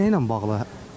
Nə ilə bağlı?